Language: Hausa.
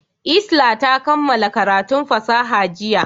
Isla ta kammala karatun fasaha jiya.